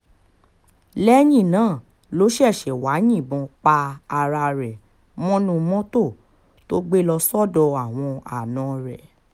lẹ́yìn náà ló ṣẹ̀ṣẹ̀ wáá yìnbọn pa ara rẹ̀ mọ́nú mọ́tò tó gbé lọ sọ́dọ̀ àwọn àna rẹ̀